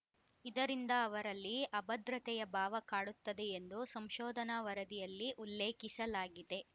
ಇದರಿಂದ ಅವರಲ್ಲಿ ಅಭದ್ರತೆಯ ಭಾವ ಕಾಡುತ್ತದೆ ಎಂದು ಸಂಶೋಧನಾ ವರದಿಯಲ್ಲಿ ಉಲ್ಲೇಖಿಸಲಾಗಿದೆ